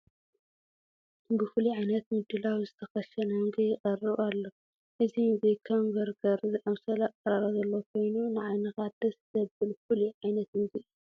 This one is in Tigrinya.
ብፍሉይ ዓይነት ምድላው ዝተኸሸነ ምግቢ ይቐርብ ኣሎ፡፡ እዚ ምግኪ ከም በርገር ዝኣምሰለ ኣቐራርባ ዘለዎ ኮይኑ ንዓይንኻ ደስ ዘብል ፍሉይ ዓይነት ምግቢ እዩ፡፡